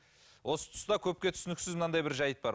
осы тұста көпке түсініксіз мынандай бір жайт бар